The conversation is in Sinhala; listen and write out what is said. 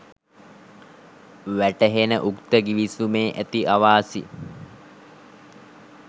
වැටහෙන උක්ත ගිවිසුමේ ඇති අවාසි